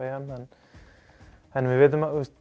EM en við vitum að